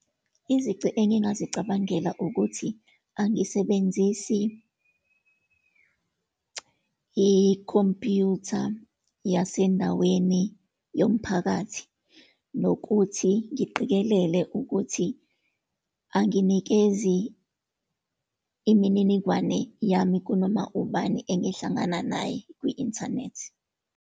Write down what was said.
Izici engingazicabangela ukuthi angisebenzisi ikhompyutha yasendaweni yomphakathi, nokuthi ngiqikelele ukuthi anginikezi imininingwane yami kunoma ubani engihlangana naye kwi-inthanethi.